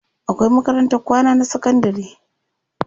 Akwai makarantar kwana na sakandari.